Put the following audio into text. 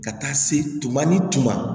Ka taa se tuma ni tuma